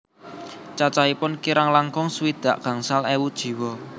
Cacahipun kirang langkung swidak gangsal ewu jiwa